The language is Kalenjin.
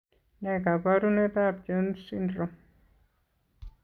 Ne kaabarunetap Jones syndrome?